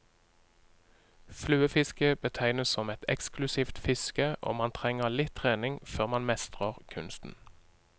Fluefiske betegnes som et eksklusivt fiske, og man trenger litt trening før man mestrer kunsten.